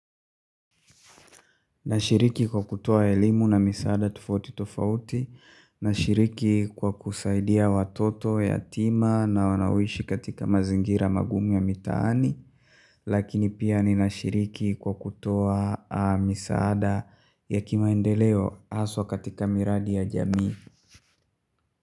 Nashiriki kwa kutoa elimu na misaada tofauti tofauti. Nashiriki kwa kusaidia watoto yatima na wanaoishi katika mazingira magumu ya mitaani. Lakini pia ninashiriki kwa kutoa misaada ya kimaendeleo haswa katika miradi ya jamii.